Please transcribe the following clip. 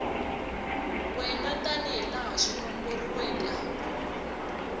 wena tanihilaha swi nomboriweke hakona